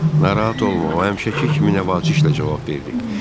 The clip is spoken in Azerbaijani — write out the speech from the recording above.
Narahat olma, o həmişəki kimi laqeyd cavab verdi.